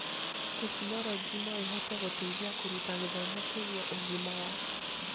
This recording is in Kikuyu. Tekinoronjĩ no ĩhote gũteithia kũruta gĩthomo kĩgie ũgima wa